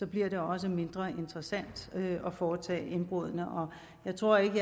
bliver det også mindre interessant at foretage indbruddene jeg tror ikke